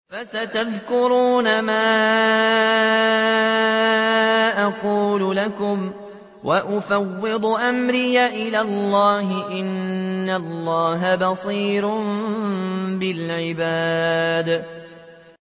فَسَتَذْكُرُونَ مَا أَقُولُ لَكُمْ ۚ وَأُفَوِّضُ أَمْرِي إِلَى اللَّهِ ۚ إِنَّ اللَّهَ بَصِيرٌ بِالْعِبَادِ